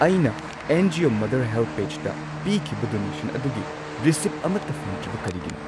ꯑꯩꯅ ꯑꯦꯟ.ꯖꯤ.ꯑꯣ. ꯃꯗꯔ ꯍꯦꯜꯞꯑꯦꯖꯗ ꯄꯤꯈꯤꯕ ꯗꯣꯅꯦꯁꯟ ꯑꯗꯨꯒꯤ ꯔꯤꯁꯤꯠ ꯑꯃꯠꯇ ꯐꯪꯗ꯭ꯔꯤꯕ ꯀꯔꯤꯒꯤꯅꯣ?